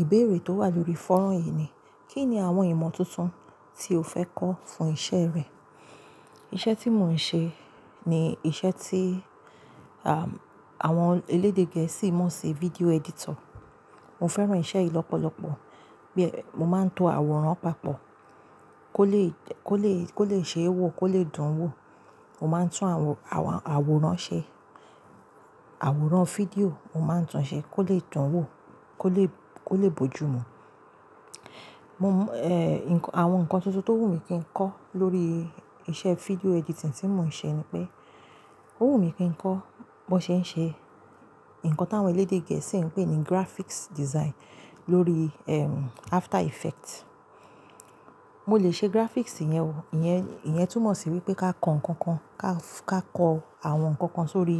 Ìbéèrè tó wà lórí fọ́rọ̀ yìí ni, kí ni àwọn ìmọ̀ tuntun tí o fẹ́ kọ́ fún iṣẹ́ rẹ? Iṣẹ́ tí mò ń ṣe ni iṣẹ́ tí, à, àwọn elédè gẹ̀ẹ́sì máa ń ṣe, video editor. Mo fẹ́ràn iṣẹ́ yìí lọ́pọ̀lọpọ̀. Bí è, mo máa ń to àwòrán papọ̀ kó lè, kó lè, kó lè ṣe é wò, kó lè dùn wò. Mo máa ń tún àwọn, àwọn àwòrán ṣe, àwòrán fídíò, mo máa ń tun ṣe kó lè dùn wò, kó lè, kó lè bojù mu. Mo m, ẹ, nǹkan, àwọn ǹkan tuntun tó wù mí kí n kọ́ lórí iṣẹ́ fídíò editing tí mò ń ṣe ni pé, ó wù mí kí n kọ́ bó ṣe ń ṣe ǹkan táwọn elédè gẹ̀ẹ́sì ń pè ní graphics design lórí, ẹm, After Effects. Mo lè ṣe graphics yẹn o, ìyẹn, ìyẹn túmọ̀ sí wípé ká kan ǹkan kan, ká, ká kọ àwọn ǹkan kan sórí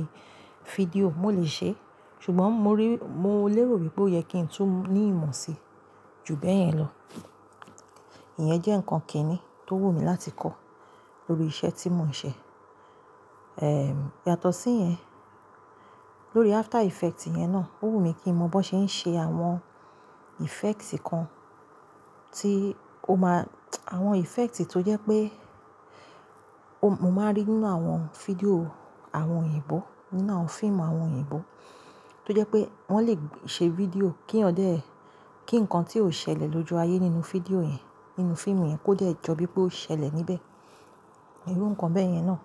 fídíò, mo lè ṣe é. Ṣùgbọ́n mo rí, mo lérò wípé ó yẹ kí ń tú ní ìmọ̀ si ju bẹ́ẹ̀ yẹn lọ. Ìyẹn jẹ́ ǹkan kìíní tó wù mí láti kọ́ lórí iṣẹ́ tí mò ń ṣe. Ẹm, yàtọ̀ sí yẹn, lórí After Effects yẹn náà, ó wù mí kí n mọ bó ṣe ń ṣe àwọn effects kan tí o máa, àwọn effects tó jẹ́ pé o, mo máa rí nínú àwọn fídíò àwọn òyìnbó, nínú àwọn fíìmù àwọn òyìnbó, tó jẹ́ pé wọ́n lè ṣe fídíò kí eyan dé, kí ǹkan tí ó ṣẹlẹ̀ lójú ayé nínú fídíò yẹn, nínú fíìmù yẹn kó de jọ bíi pé ó ṣẹlẹ̀ níbẹ̀. Irú ǹkan bẹ́ẹ̀ yẹn náà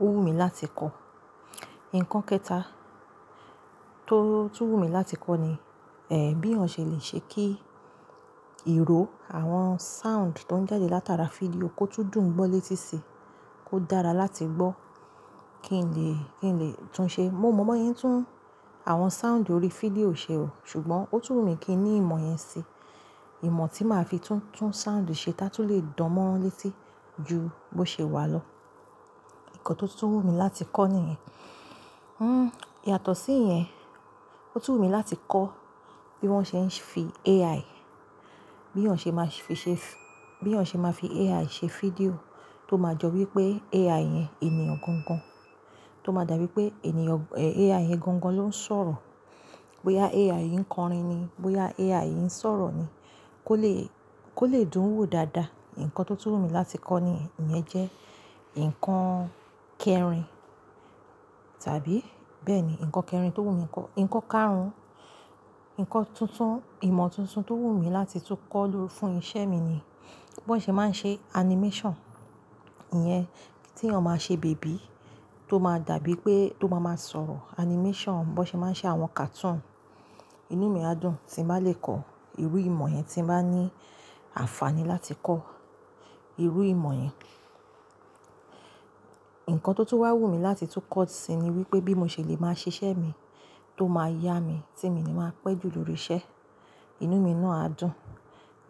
ó wù mí láti kọ́. Ǹkan kẹta tó, tun wù mí láti kọ́ ni, ẹ́, bí eyan ṣẹ̀ lè ṣe kí ìró àwọn sound tó ń jáde látara fídíò kó tún dùn gbọ́ létí sí i, kó dára láti gbọ́ kí n lè, kí n lè tún ṣe. Mo mọ bóyén tún àwọn sound ori fídíò ṣe o, ṣùgbọ́n ó tún wù mí kí n ní ìmọ̀ yẹn si. Ìmọ̀ tí màá fi tún, tún sound ṣe tá tún lè dán mó létí ju bó ṣe wà lọ. Ǹkan tó tún wù mí láti kọ́ níyẹn. Hmm, yàtọ̀ sí yẹn, ó tún wù mí láti kọ́ bí wọ́n ṣe ń fi AI, bí iyan ṣẹ̀ má ṣe fi, ṣe f, bí ọ̀ṣẹ̀ máa fi AI ṣe fídíò tó máa jọ wípé AI yẹn ènìyàn gangan, tó máa dàbí pé ènìyàn, ẹ, AI yẹn gangan ló ń sọ̀rọ̀. Bóyá AI yín ń kọrin ni, bóyá AI yín ń sọ̀rọ̀ ni, kó lè, kó lè dùn wò dáadáa. Ǹkan tó tún wù mí láti kọ́ ni, ìyẹn jẹ́ ǹkan kẹrin tàbí bẹ́ẹ̀ ni, ǹkan kẹrin tó wù mí, ǹkan karùn-ún, ǹkan tuntun, ìmọ̀ tuntun tó wù mí láti tún kọ́ lórí, fún iṣẹ́ mi ni bó n ṣe máa ń ṣe animation. Ìyẹn tí ọ máa ṣe bèbí tó máa dàbí pé tó máa máa sọ̀rọ̀. Animation, bó ṣe máa ń ṣe àwọn cartoon. Inú mi á dùn tí n bá lè kọ́ irú ìmọ̀ yẹn, tí n bá ní àǹfààní láti kọ́ irú ìmọ̀ yẹn. Ǹkan tó, tó wà wù mí láti tún kọ́ sì ni wípé bí mo ṣe lè máa ṣiṣẹ́ mi tó máa yá mi tí mi ni màá pẹ́ ju lórí iṣẹ́. Inú mi náà á dùn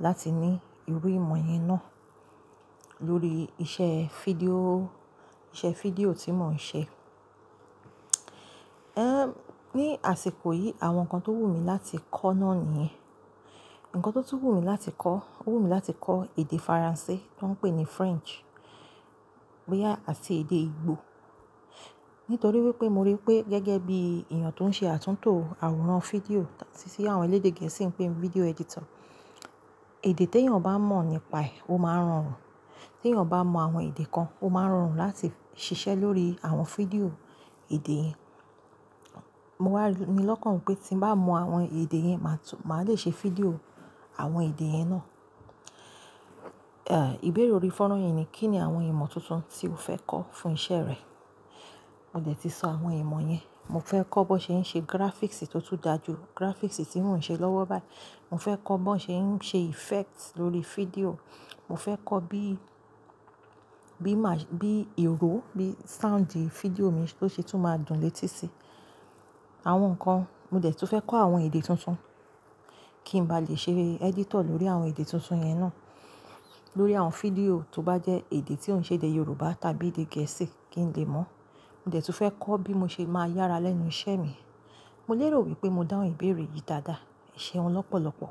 láti ní irú ìmọ̀ yẹn náà lórí iṣẹ́ fídíò, iṣẹ́ fídíò tí mò ń ṣe. Ẹ́, ní àsìkò yìí àwọn ǹkan tó wù mí láti kọ́ náà nìyẹn. Ǹkan tó tún wù mí láti kọ́, ó wù mí láti kọ́ èdè Faransé tó ń pè ní French, bóyá àti èdè Igbo. Nítorí wípé mo rí pé gẹ́gẹ́ bí ènìyàn tó ń ṣe àtúntò àwòrán fídíò, tí, tí àwọn elédè gẹ̀ẹ́sì ń pè ní video editor, èdè tí ènìyàn bá mọ̀ nípaẹ̀, ó máa rọrùn. Tí ènìyàn bá mọ àwọn èdè kan, ó máa rọrùn láti ṣiṣẹ́ lórí àwọn fídíò èdè yẹn. Mo wà ni lọ́kàn wípé tí n bá mọ àwọn èdè yẹn, màá tún, màá lè ṣe fídíò àwọn èdè yẹn náà. Ẹ, ìbéèrè orí foran yìí ni, kí ni àwọn ìmọ̀ tuntun tí o fẹ́ kọ́ fún iṣẹ́ rẹ? Mo dẹ̀ ti sọ àwọn ìmọ̀ yẹn. Mo fẹ́ kọ́ bó ṣe ń ṣe graphics tí ó tún dà ju graphics tí mò ń ṣe lọ́wọ́ báyìí. Mo fẹ́ kọ́ bó ṣe ń ṣe effect lórí fídíò. Mo fẹ́ kọ́ bí, bí mà, bí ìró bí soundi fídíò mi tó ṣe tún máa dùn létí sí i. Àwọn ǹkan, mo dẹ̀ tún fẹ́ kọ́ àwọn èdè tuntun kí n ba lè ṣe editor lórí àwọn èdè tuntun yẹn náà. Lórí àwọn fídíò tó bá jẹ́ èdè tí o ṣe èdè Yorùbá tàbí èdè gẹ̀ẹ́sì kí n lè mọ̀. Mo dẹ̀ tún fẹ́ kọ́ bí mo ṣe máa yára lẹ́nu iṣẹ́ mi. Mo lérò wípé mo dáhùn ìbéèrè yìí dáadáa. Ẹ ṣeun lọ́pọ̀lọpọ̀.